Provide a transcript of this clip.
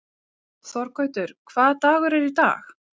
Þorgautur, hvaða dagur er í dag?